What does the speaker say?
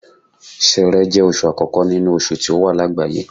Ṣẹẹrẹ jẹ́ oṣù àkókò nínú oṣù tí ó wà lágbàáyé.